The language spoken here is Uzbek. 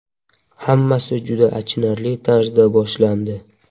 Hammasi juda achinarli tarzda boshlandi.